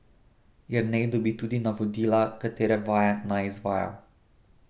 Jernej dobi tudi navodila, katere vaje naj izvaja.